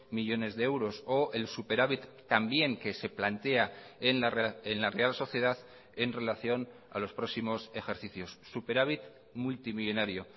millónes de euros o el superávit también que se plantea en la real sociedad en relación a los próximos ejercicios superávit multimillónario